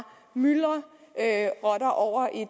myldrer rotter over i